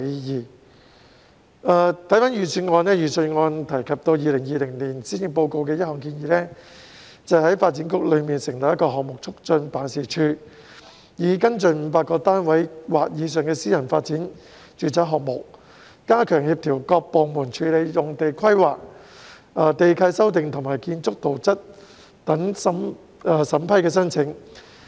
看回預算案，當中提及2020年施政報告的一項建議，即在發展局中成立項目促進辦事處，以跟進500個單位或以上的私人發展住宅項目，加強協調各部門處理用地規劃、地契修訂和建築圖則等審批申請。